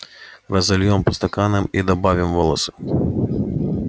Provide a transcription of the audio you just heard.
разольём по стаканам и добавим волосы